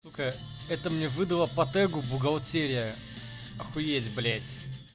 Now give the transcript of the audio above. ка это мне выдало по тегу бухгалтерия охуеть блять